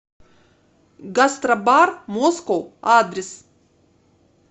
гастробар москоу адрес